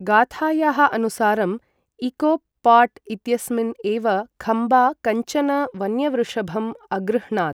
गाथायाः अनुसारम् इकोप् पाट् इत्यस्मिन् एव खम्बा कञ्चन वन्यवृषभम् अगृह्णात्।